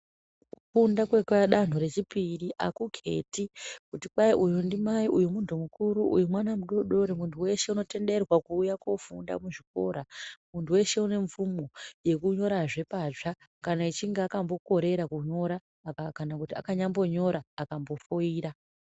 Kufunda kwekwadanto rechipiri hakuketi kuti kwai uyu ndimai uyu muntu mukuru uyu mwana mudodori. Muntu weshe unotenderwa kuuya kofunda kuchikora muntu weshe une mvumo yekunyorazve patsva kana echinge akambokorera kunyora kana kuti akanyambonyora akambofoira.